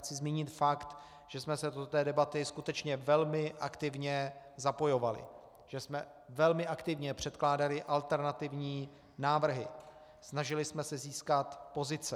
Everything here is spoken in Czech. Chci zmínit fakt, že jsme se do té debaty skutečně velmi aktivně zapojovali, že jsme velmi aktivně předkládali alternativní návrhy, snažili jsme se získat pozice.